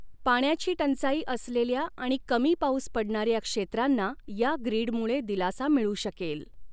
पाण्याची टंचाई असलेल्या आणि कमी पाऊस पडणाऱ्या क्षेत्रां्ना या ग्रिडमुळे दिलासा मिळू शकेल.